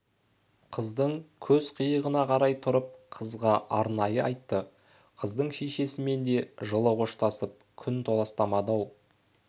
қыздың көз қиығына қарай тұрып қызға арнай айтты қыздың шешесімен де жылы қоштасып күн толастамады-ау